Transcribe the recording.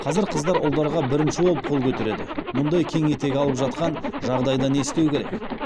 қазір қыздар ұлдарға бірінші болып қол көтереді мұндай кең етек алып жатқан жағдайда не істеу керек